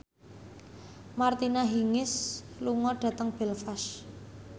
Martina Hingis lunga dhateng Belfast